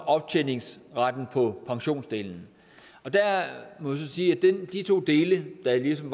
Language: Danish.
optjeningsretten på pensionsdelen jeg må sige at de to dele der ligesom